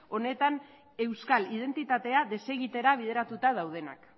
honetan euskal identitatea desegitera bideratuta daudenak